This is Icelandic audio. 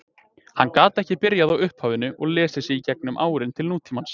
Hann gat ekki byrjað á upphafinu og lesið sig í gegnum árin til nútímans.